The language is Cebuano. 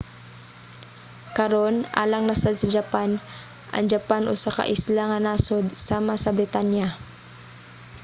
karon alang na sad sa japan. ang japan usa ka isla nga nasod sama sa britanya